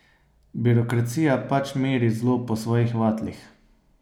Birokracija pač meri zlo po svojih vatlih.